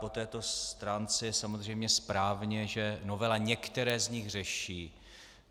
Po této stránce je samozřejmě správně, že novela některé z nich řeší.